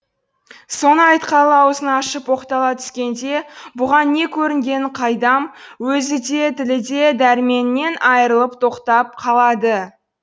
соны айтқалы аузын ашып оқтала түскенде бұған не көрінгенін қайдам өзі де тілі де дәрменінен айырылып тоқтап қалады